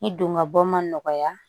I don gabɔ ma nɔgɔya